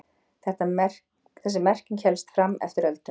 Þessi merking hélst fram eftir öldum.